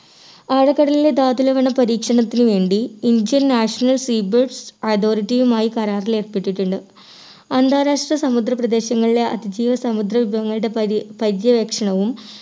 ആഴക്കടലിലെ ധാതു ലവണ പരീക്ഷണത്തിന് വേണ്ടി indian national sea authority യുമായി കരാറിൽ ഏർപ്പെട്ടിട്ടുണ്ട്. അന്താരാഷ്ട്ര സമുദ്ര പ്രദേശങ്ങളിലെ അതിജീവ സമുദ്ര വിഭവങ്ങളുടെ പരി പരിചയ ലക്ഷണവും